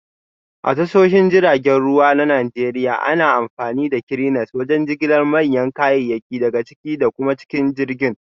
A tashoshin jiragen ruwa na Najeriya, ana amfani da Cranes wajen jigilar manyan kayayyaki daga ciki da kuma cikin jirgin